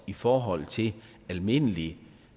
i forhold til almindelig